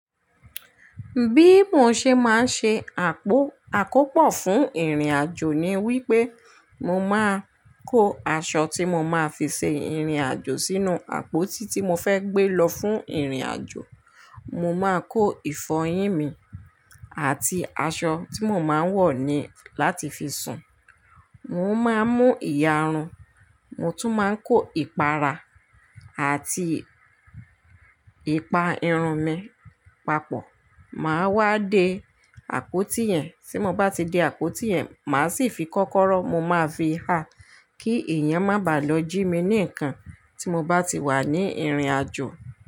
Bí mo ṣe máa ń ṣe àpò àkópò fún ìrìnàjò ni wí lpé mo máa kó aṣọ tí mo máa fi ṣe ìrìnàjò sínú àpótí tí mo fẹ́ gbé lọ fún ìrìnàjò. Mo máa kó ìfọyín mi àti aṣọ tí mo máa ń wọ̀ ni láti fi sùn. Mo máa mú ìyarun, mo tún máa kó ìpara àti ìpa irun mi papọ̀. Màá wá de àpótí yẹn, tí mo bá ti de àpótí yẹn, màá sì fi kọ́kọ́rọ́ mo máa fi ha kí èèyàn má bàá lọ jí mi ní nǹkan tí mo bá ti wà ní ìrìnàjò.